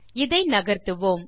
இதை நகர்த்துவோம்